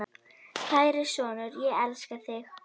Kæri sonur, ég elska þig.